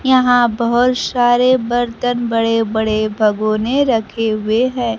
यहां बहुत सारे बर्तन बड़े बड़े भगोने रखे हुए हैं।